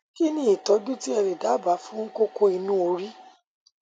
kí ni ìtọjú tí ẹ lè dábàá fún kókó inú orí